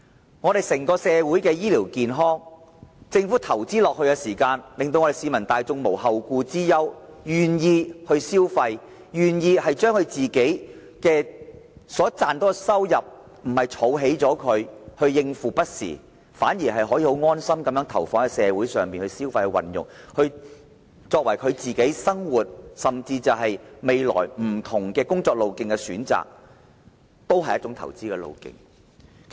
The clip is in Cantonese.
政府投資在社會的整體醫療服務，令市民大眾無後顧之憂，因而願意消費，願意把所賺取的收入——不是用來儲蓄，以應付不時之需——投放在社會上，為未來的生活甚至是工作的不同選擇作好準備，也是一種投資方式。